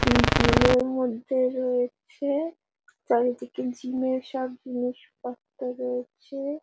উম জিমের মধ্যে রয়েছে চারিদিকে জিমের সব জিনিসপত্র রয়েছে-এ ।